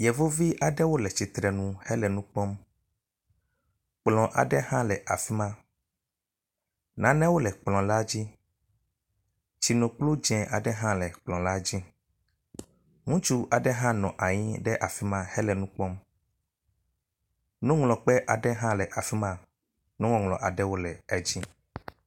Yevuvi aɖewo le tsitre nu hele nu kpɔ, kplɔ aɖe hã le afi ma. Nanewo le kplɔ la dzi, tsinokplu dzɛ̃ aɖe hã le kplɔ la dzi. Ŋutsu aɖe hã nɔ anyi ɖe afi ma le nu kpɔm. nuŋlɔkpe aɖe hã le afi ma nuŋɔŋlɔ aɖewo le edzi.